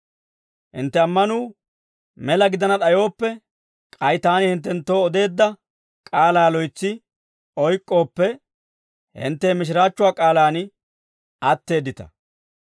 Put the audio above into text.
Hinttenttu ammanuu mela gidana d'ayooppe, k'ay taani hinttenttoo odeedda k'aalaa loytsi oyk'k'ooppe, hintte he mishiraachchuwaa k'aalaan atteeddita.